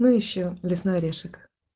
ну ещё лесной орешек